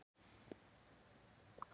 Ég barðist við að hemja tilfinningar mínar.